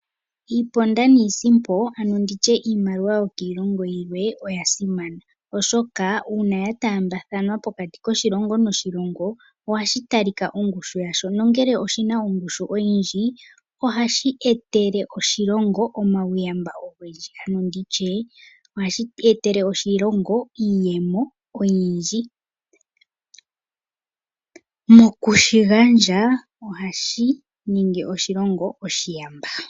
Iiponda niisimpo, ano ndi tye iimaliwa yokiilongo yilwe oya simana, oshoka uuna ya taambathanwa pokati koshilongo noshilongo ohashi talika ongushu yasho nongele oshi na ongushu oyindji ohashi etele oshilongo omauyamba ogendji. Ano ndi tye ohashi etele oshilongo iiyemo oyindji. Moku shi gandja ohashi ningi oshilongo oshiyamba.